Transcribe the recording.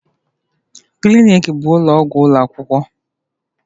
Clinic bụ ụlọ ọgwụ ụlọ akwụkwọ.